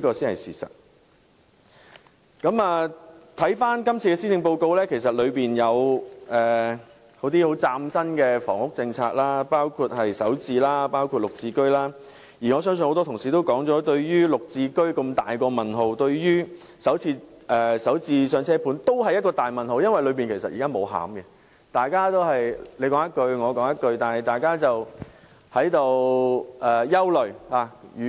看看今次的施政報告，其實當中有些很嶄新的房屋政策，包括"港人首置上車盤"和綠表置居計劃，而我聽到很多同事提到對"綠置居"和"港人首置上車盤"均抱有很大疑問，因為這些措施仍未有具體內容，大家只是你一言，我